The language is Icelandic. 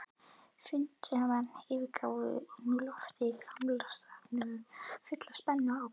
Fundarmenn yfirgáfu nú loftið í Gamla-salthúsinu fullir spennu og ákafa.